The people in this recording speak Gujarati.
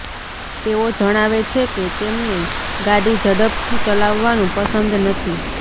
તેઓ જણાવે છે કે તેમને ગાડી ઝડપથી ચલાવવાનુ પસંદ નથી